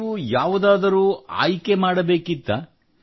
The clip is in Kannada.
ನೀವು ಯಾವುದಾದರೂ ಆಯ್ಕೆ ಮಾಡಬೇಕಿತ್ತೇ